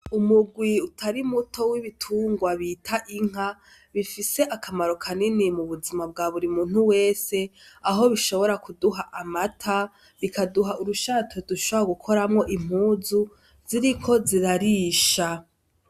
Umugwi utarimuto w'ibitungwa bita inka bifise akamaro kanini mubuzima bwaburi muntu wese aho bishobora kuduha amata, bikaduha urushato dushobora gukoramwo impuzu ziriko zirarisha.